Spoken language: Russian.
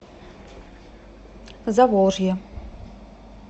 заволжье